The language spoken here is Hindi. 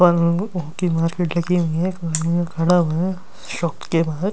ओ की मार्किट लगी हुई है एक खड़ा हुआ है शॉप के बाहर।